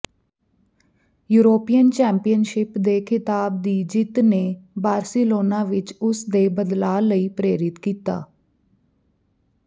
European championship ਦੇ ਖਿਤਾਬ ਦੀ ਜਿੱਤ ਨੇ ਬਾਰ੍ਸਿਲੋਨਾ ਵਿੱਚ ਉਸ ਦੇ ਬਦਲਾਅ ਲਈ ਪ੍ਰੇਰਿਤ ਕੀਤਾ